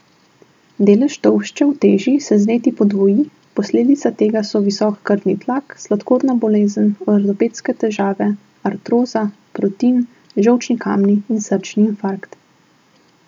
Delež tolšče v teži se z leti podvoji, posledica tega so visok krvni tlak, sladkorna bolezen, ortopedske težave, artroza, protin, žolčni kamni in srčni infarkt.